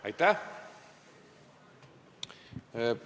Aitäh!